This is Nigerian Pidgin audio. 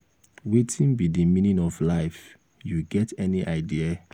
wetin be di meaning of life you get any idea?